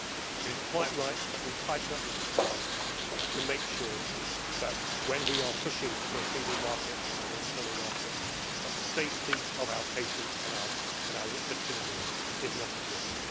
It is quite right that we tighten up these requirements to make sure that when we are pushing for a single market and an internal market, the safety of our patients and our citizens is not at risk.